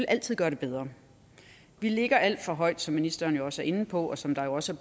altid gøre det bedre vi ligger alt for højt som ministeren jo også er inde på og som der også